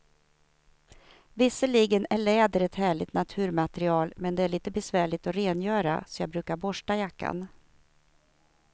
Visserligen är läder ett härligt naturmaterial, men det är lite besvärligt att rengöra, så jag brukar borsta jackan.